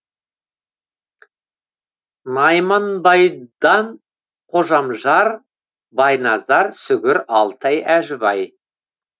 найманбайдан қожамжар байназар сүгір алтай әжібай